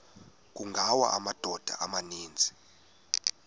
kungawa amadoda amaninzi